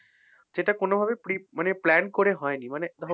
এটা কোনোভাবে pre মানে plan করে হয়নি। মানে